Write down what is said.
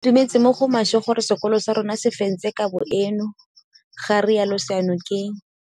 Ke itumetse mo go maswe gore sekolo sa rona se fentse kabo eno, ga rialo Seyanokeng.